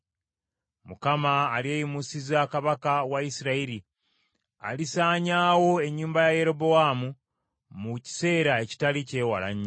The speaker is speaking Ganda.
“ Mukama alyeyimusiza kabaka wa Isirayiri alisaanyaawo ennyumba ya Yerobowaamu mu kiseera ekitali ky’ewala nnyo.